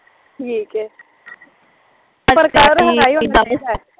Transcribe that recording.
ਠੀਕ ਐ